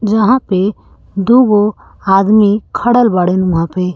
वंहा पे दुगो आदमी खरल बाड़े उहाँ पे।